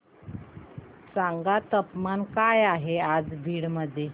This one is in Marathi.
सांगा तापमान काय आहे आज बीड मध्ये